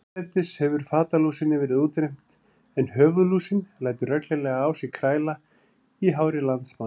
Hérlendis hefur fatalúsinni verið útrýmt en höfuðlúsin lætur reglulega á sér kræla í hári landsmanna.